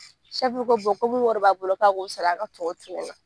ko ko mun wari b'a bolo k'a k'o sara a ka tɔw to yen nɔ